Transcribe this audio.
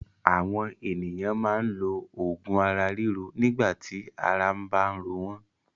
Àwọn ènìyàn máa ń lo òògùn ara ríro nígbà tí ara bá ń ro wọ́n.